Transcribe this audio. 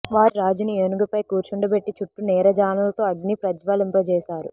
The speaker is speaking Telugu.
వారు రాజుని ఏనుగుపై కూర్చుండ బెట్టి చుట్టూ నీరాజనాలతో అగ్నిని ప్రజ్వలింపచేశారు